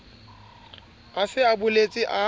a se a boletse a